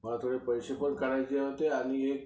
मला थोडे पैसे पण काढायचे होते आणि